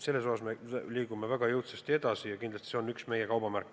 Selles osas me liigume väga jõudsasti edasi ja see on kindlasti üks meie kaubamärk.